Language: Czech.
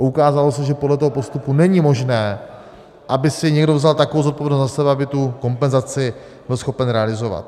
A ukázalo se, že podle toho postupu není možné, aby si někdo vzal takovou zodpovědnost na sebe, aby tu kompenzaci byl schopen realizovat.